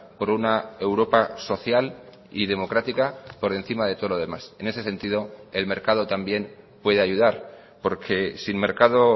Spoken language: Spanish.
por una europa social y democrática por encima de todo lo demás en ese sentido el mercado también puede ayudar porque sin mercado